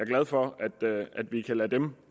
glad for at vi kan lade dem